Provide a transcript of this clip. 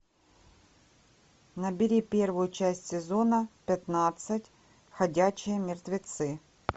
набери первую часть сезона пятнадцать ходячие мертвецы